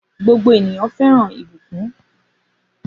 Gbogbo ènìyàn fẹ́ràn ìbùkún.